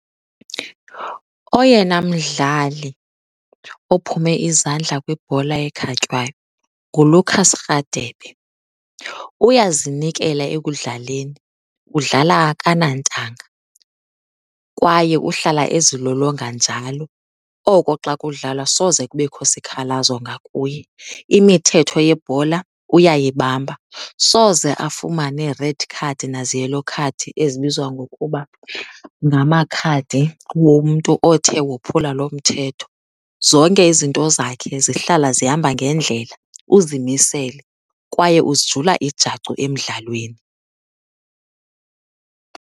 Oyena mdlali ophume izandla kwibhola ekhatywayo nguLucas Rhadebe. Uyazinikela ekudlaleni udlala akanantanga kwaye uhlala ezilolonga njalo, oko xa kudlalwa soze kubekho sikhalazo ngakuye. Imithetho yebhola uyayibamba, soze afumane red card nazi-yellow card ezibizwa ngokuba ngamakhadi womntu othe wophula loo mthetho. Zonke izinto zakhe zihlala zihamba ngendlela. Uzimisele kwaye uzijula ijacu emdlalweni.